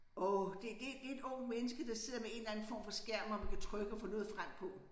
Åh det det det et ungt menneske der sidder med en eller anden form for skærm hvor man kan trykke og få noget frem på